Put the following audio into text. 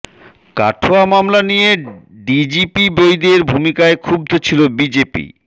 কাঠুয়া মামলা নিয়ে ডিজিপি বৈদের ভূমিকায় ক্ষুব্ধ ছিল বিজেপি